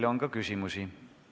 Teile on ka küsimusi.